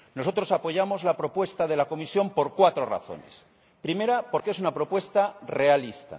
Nosotros apoyamos la propuesta de la Comisión por cuatro razones primero, porque es una propuesta realista